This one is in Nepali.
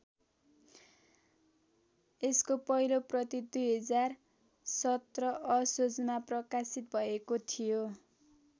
यसको पहिलो प्रति २०१७ असोजमा प्रकाशित भएको थियो।